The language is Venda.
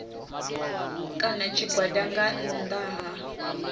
kana tshigwada nga nnḓa ha